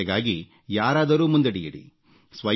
ಸ್ವಚ್ಛತೆಗಾಗಿ ಯಾರಾದರೂ ಮುಂದಡಿಯಿಡಿ